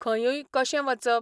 खंयूय कशें वचप?